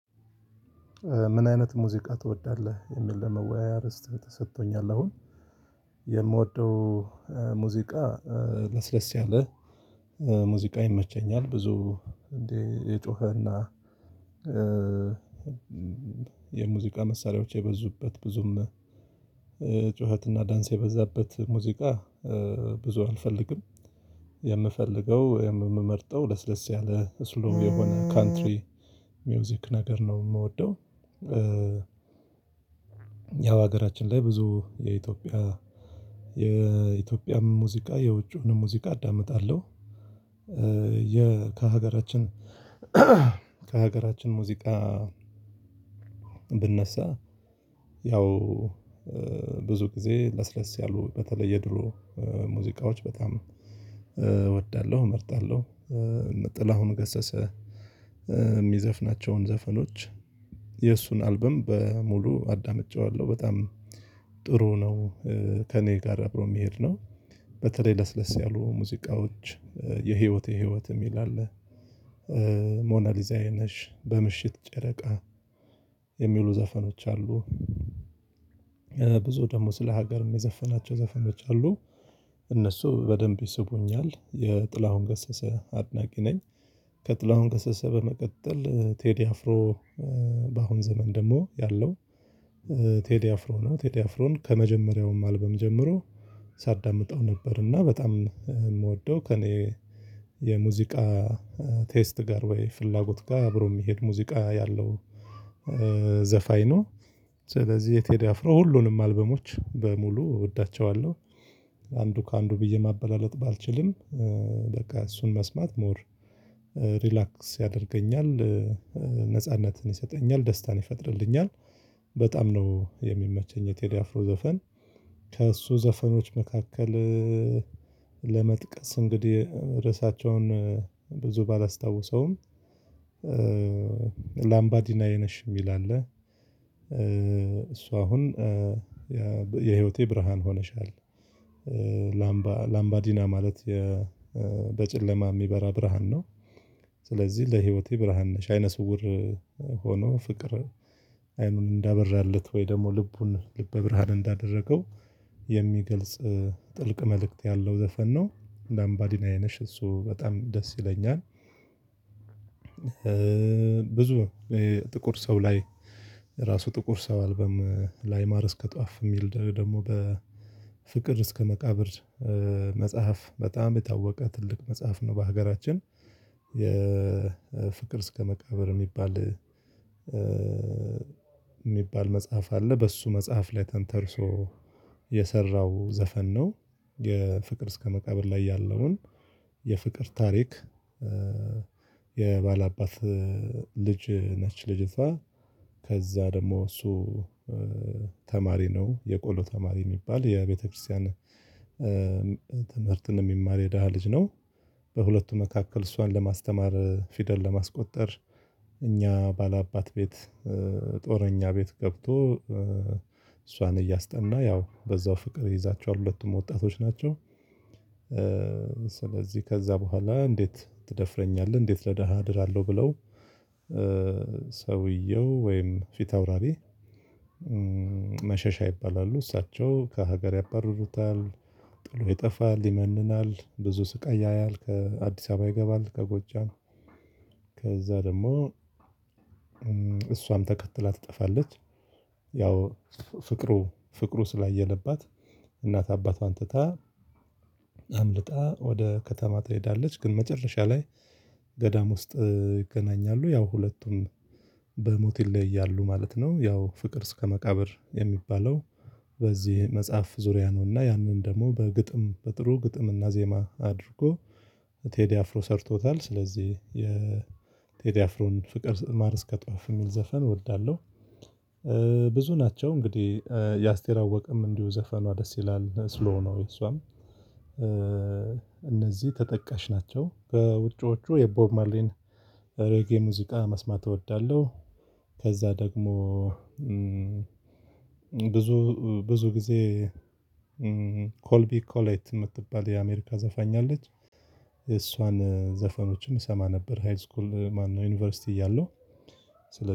ምን አይነት ሙዚቃ ትወዳለህ? የሚል የመወያያ ርዕስ ተሰጥቶኛል አሁን የምወደው ሙዚቃ ለስለስ ያለ ሙዚቃ ይመቸኛል። ብዙ እንዲ የጮኸና የሙዚቃ መሳሪያዎች የበዙበት ብዙም ጩኸትና ዳንስ የበዛበት ሙዚቃ ብዙ አልፈልግም። የምፈልገው የምመርጠው ለስለስ ያለ ስሎው የሆነ ካንትሪ ሚውዚክ ነገር ነው የምወደው። ያው ሀገራችን ላይ ብዙ የኢትዮጵያ የኢትዮጵያ ሙዚቃ የውጭውን ሙዚቃ አዳምጣለሁ። ከሀገራችን ሙዚቃ ብነሳ ያው ብዙ ጊዜ ለስለስ ያሉ በተለየ የድሮ ሙዚቃዎች በጣም እወዳለሁ። እመርጣለሁ ጥላሁን ገሰሰ የሚዘፍናቸውን ዘፈኖች የእሱን አልበም በሙሉ አዳምጨዋለሁ በጣም ጥሩ ነው። ከእኔ ጋር አብሮ የሚሄድ ነው በተለይ ለስለስ ያሉ ሙዚቃዎች የህይወቴ ህይወት የሚል አለ ሞናሊዛዬ ነሽ በምሽት ጨረቃ የሚሉ ዘፈኖች አሉ። ብዙ ደግሞ ስለ ሀገርም የዘፈናቸው ዘፈኖች አሉ እነሱ በደንብ ይስቡኛል የጥላሁን ገሰሰ አድናቂ ነኝ። ከጥላሁን ገሰሰ በመቀጠል ቴዲ አፍሮ በአሁን ዘመን ደግሞ ያለው ቴዲ አፍሮ ነው። ቴዲ አፍሮን ከመጀመሪያውም አልበም ጀምሮ ሳዳምጠው ነበር እና በጣም የምወደው ከእኔ የሙዚቃ ቴስት ጋር ወይ ፍላጎት ጋር አብሮ የሚሄድ ሙዚቃ ያለው ዘፋኝ ነው። ስለዚህ የቴዲ አፍሮ ሁሉንም አልበሞች በሙሉ እወዳቸዋለሁ። አንዱ ከአንዱ ብዬ ማበላለጥ ባልችልም በቃ እሱን መስማት ሞር ሪላክስ ያደርገኛል ነጻነትን ይሰጠኛል ደስታን ይፈጥርልኛል። በጣም ነው የሚመቸኝ የቴዲ አፍሮ ዘፈን። ከእሱ ዘፈኖች መካከል ለመጥቀስ እንግዲህ ርዕሳቸውን ብዙ ባላስታውሰውም ላምባዲናዬ ነሽ የሚል አለ እሱ አሁን የህይወቴ ብርሃን ሆነሻል ላምባ ላምባዲና ማለት በጨለማ የሚበራ ብርሃን ነው። ስለዚህ ለህይወቴ ብርሃን ነሽ አይነ ስውር ሆኖ ፍቅር አይኑን እንዳበራለት ወይ ደግሞ ልቡን ልበ ብርሃን እንዳደረገው የሚገልጽ ጥልቅ መልእክት ያለው ዘፈን ነው። ላምባዲናዬ ነሽ እሱ በጣም ደስ ይለኛል። ብዙ ጥቁር ሰው ላይ ራሱ ጥቁር ሰው አልበም ላይ ማር እስከ ጧፍ የሚል ደግሞ በፍቅር እስከ መቃብር መጽሐፍ በጣም የታወቀ ትልቅ መጽሐፍ ነው። በሀገራችን የፍቅር እስከ መቃብር የሚባል የሚባል መጽሐፍ አለ በሱ መጽሐፍ ላይ ተንተርሶ የሰራው ዘፈን ነው። የፍቅር እስከ መቃብር ላይ ያለውን የፍቅር ታሪክ የባለአባት ልጅ ነች። ልጅቷ ከዛ ደግሞ እሱ ተማሪ ነው የቆሎ ተማሪ የሚባል የቤተክርስቲያን ትምህርትን የሚማር የደሃ ልጅ ነው። በሁለቱ መካከል እሷን ለማስተማር ፊደል ለማስቆጠር እኛ ባላባት ቤት ጦረኛ ቤት ገብቶ እሷን እያስጠና ያው በዛው ፍቅር ይይዛቸዋል ሁለቱም ወጣቶች ናቸው። ስለዚህ ከዛ በኋላ እንዴት ትደፍረኛለህ እንዴት ለደሃ እድራለሁ ብለው ሰውየው ወይም ፊት አውራሪ መሸሻ ይባላሉ እሳቸው ከሀገር ያባርሩታል። ጥሎ ይጠፋል ይመንናል ብዙ ስቃይ ያያል ከአዲስ አበባ ይገባል ከጎጃም ከዛ ደግሞ እሷም ተከትላ ትጠፋለች። ያው ፍቅሩ ፍቅሩ ስላየለባት እናት አባቷን ትታ አምልጣ ወደ ከተማ ትሄዳለች ግን መጨረሻ ላይ ገዳም ውስጥ ይገናኛሉ ያው ሁለቱም በሞት ይለያያሉ ማለት ነው። ያው ፍቅር እስከ መቃብር የሚባለው በዚህ መጽሐፍ ዙሪያ ነውና ያንን ደግሞ በግጥም በጥሩ ግጥም እና ዜማ አድርጎ ቴዲ አፍሮ ሰርቶታል። ስለዚህ የቴዲ አፍሮን ፍቅር ማር እስከ ጧፍ የሚል ዘፈን እወዳለሁ። ብዙ ናቸው እንግዲህ የአስቴር አወቀም እንዲሁ ዘፈኗ ደስ ይላል ስሎው ነው የሷም እነዚህ ተጠቃሽ ናቸው። በውጪዎቹ የቦብ ማርሊን ሬጌ ሙዚቃ መስማት እወዳለሁ። ከዛ ደግሞ ብዙ ብዙ ጊዜ ኮልቢ ኮላይት የምትባል የአሜሪካ ዘፋኛ አለች። የእሷን ዘፈኖችም እሰማ ነበር ሀይል ስኩል ማነው ዩኒቨርሲቲ እያለው